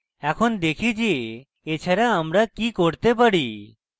এখন দেখি যে এছাড়া আমরা কি করতে পারি